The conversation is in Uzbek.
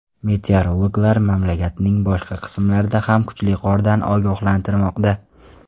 Meteorologlar mamlakatning boshqa qismlarida ham kuchli qordan ogohlantirmoqda.